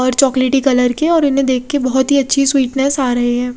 और चोकलेटी कलर के और इन्हें देक के बोहोत ही अच्छी स्वीटनेस आ रही है।